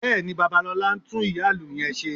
Bẹ́ẹ̀ni, Babalọlá ń tún ìyá-ìlù yẹn ṣe